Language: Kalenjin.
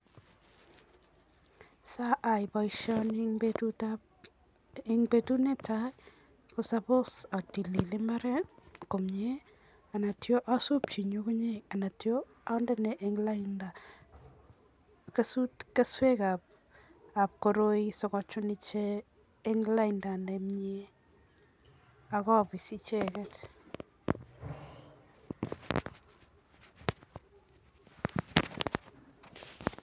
Sayai boisioni eng betut netai, ko suppose atilil imbaaret komnye anatyo asuupchi ngungunyek anatyo andenee eng lainda keswekab koroi sikochuun ichek eng lainda nemnyee akapis icheket.